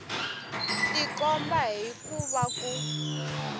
tikomba hi ku va ku